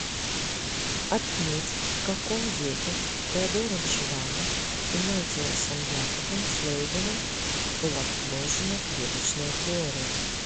отметь в каком веке теодором шванном и маттиасом якобом шлейденом была предложена клеточная теория